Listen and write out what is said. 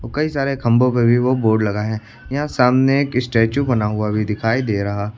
कई सारे खंभों पे भी वो बोर्ड लगा है यहां सामने एक स्टेचू बना हुआ भी दिखाई दे रहा--